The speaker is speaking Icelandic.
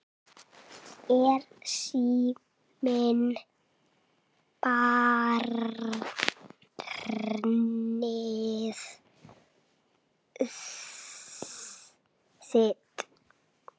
Er síminn barnið þitt?